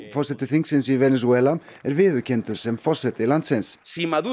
forseti þingsins í Venesúela er viðurkenndur sem forseti landsins